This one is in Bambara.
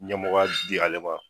Ɲɛmɔgɔya di ale ma